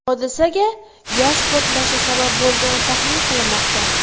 Hodisaga gaz portlashi sabab bo‘lgani taxmin qilinmoqda.